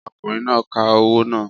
Ọkùnrin náà ka owó náà